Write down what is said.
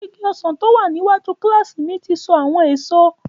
Igi ọsàn tó wà ní iwájú kílásì mi ti so àwọn èso